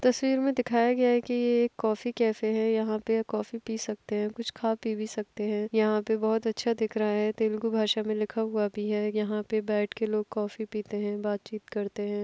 तस्वीर में दिखाया गया है कि ये एक कॉफ़ी कैफ़े है यहाँ पे कॉफ़ी पी सकते है कुछ खा-पी भी सकते है यहाँ पे बहुत अच्छा दिख रहा है तेलगु भाषा में लिखा हुआ भी है यहाँ पे बैठ के लोग कॉफ़ी पीते है बात-चीत करते है।